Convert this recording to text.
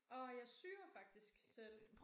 Åh jeg syr faktisk selv